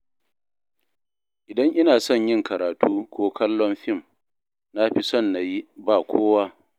Idan ina son yin karatu ko kallon fim, na fi son na yi ba kowa